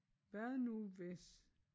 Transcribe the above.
Hvad nu hvis?